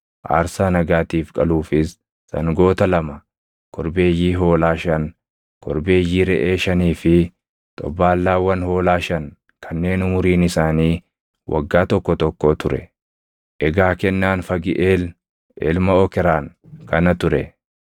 aarsaa nagaatiif qaluufis sangoota lama, korbeeyyii hoolaa shan, korbeeyyii reʼee shanii fi xobbaallaawwan hoolaa shan kanneen umuriin isaanii waggaa tokko tokkoo ture. Egaa kennaan Fagiʼeel ilma Okraan kana ture.